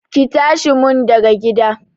Ki tashi mun daga gida!